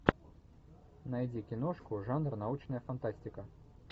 найди киношку жанр научная фантастика